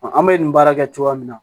An bɛ nin baara kɛ cogoya min na